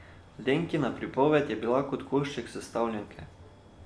Lenkina pripoved je bila kot košček sestavljanke.